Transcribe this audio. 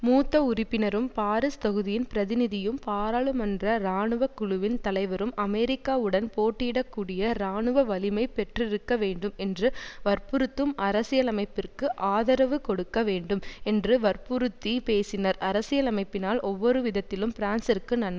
மூத்த உறுப்பினரும் பாரிஸ் தொகுதியின் பிரதிநிதியும் பாராளுமன்ற இராணுவ குழுவின் தலைவரும் அமெரிக்காவுடன் போட்டியிடக்கூடிய இராணுவ வலிமை பெற்றிருக்கவேண்டும் என்று வற்புறுத்தும் அரசியலமைப்பிற்கு ஆதரவு கொடுக்க வேண்டும் என்று வற்புறுத்திப் பேசினார் அரசியலமைப்பினால் ஒவ்வொருவிதத்திலும் பிரான்சிற்கு நன்மைதான்